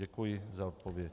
Děkuji za odpověď.